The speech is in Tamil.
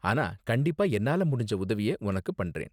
ஆனா கண்டிப்பா என்னால முடிஞ்ச உதவிய உனக்கு பண்றேன்.